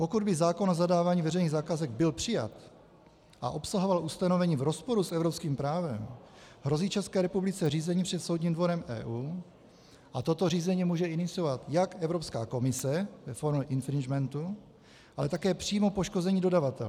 Pokud by zákon o zadávání veřejných zakázek byl přijat a obsahoval ustanovení v rozporu s evropským právem, hrozí České republice řízení před Soudním dvorem EU a toto řízení může iniciovat jak Evropská komise ve formě infringementu, ale i přímo poškozený dodavatel.